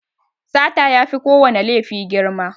Sata yafi kowana laifi girma.